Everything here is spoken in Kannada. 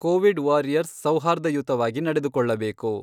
ಕೊವಿಡ್ ವಾರಿಯರ್ಸ್ ಸೌಹಾರ್ಧಯುತವಾಗಿ ನಡೆದುಕೊಳ್ಳಬೇಕು.